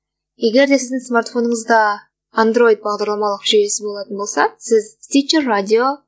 егерде сіздің смартфоныңызда андройд бағдарламалық жүйесі болатын болса сіз тичеррадио